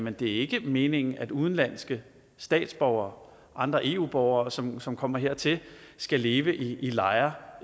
at det ikke er meningen at udenlandske statsborgere og andre eu borgere som som kommer hertil skal leve i lejre